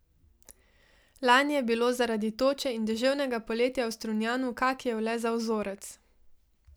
Lani je bilo zaradi toče in deževnega poletja v Strunjanu kakijev le za vzorec.